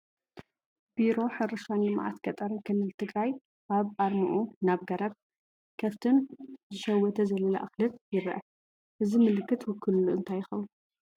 ቢሮ ሕርሻን ልምዓት ገጠርን ክልል ትግራይ ኣብ ኣርምኡ ናይ ገረብ፣ ከፍትን ዝሸወተ ዘለላ እኽልን ይርአ፡፡ እዚ ምልክት ውክልንኡ እንታይ ይኸውን?